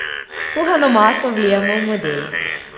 Kuhano maso vlijemo v model.